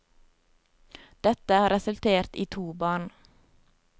Dette har resultert i to barn.